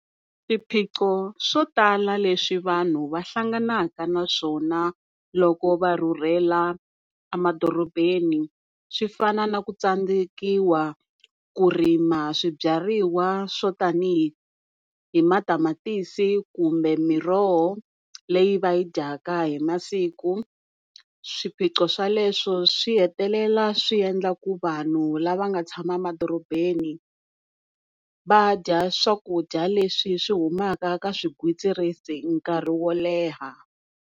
Swiphiqo swo tala leswi vanhu va hlanganaka na swona loko va rhurhela emadorobeni swi fana na ku tsandzekiwa ku rima swibyariwa swo tani hi matamatisi kumbe miroho leyi va yi dyaka hi masiku. Swiphiqo sweloswo swi hetelela swiendla ku vanhu lava nga tshama emadorobeni va dya swakudya leswi swi humaka ka swigwitsirisi nkarhi wo leha.